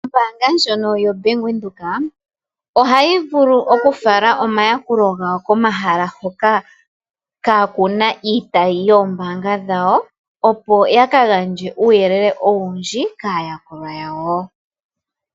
Ombaanga yaVenduka ohayi vulu okufala omayakulo komahala hoka kaa ku na iitayi yombanga oyo tuu ndjika, opo ya ka gandje uuyelele owundji kayakulwa yawo.